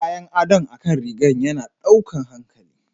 Kayan adon akan rigan yana ɗaukan hankali.